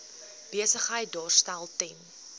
besigheid daarstel ten